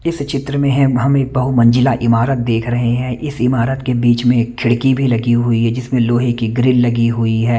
इस चित्र में हमें बहु मंजिला इमारत देख रहे हैं इस इमारत के बिच में एक खीडकी भी लगी हुई है जिसमें लोहे की ग्रील लगी हुई है।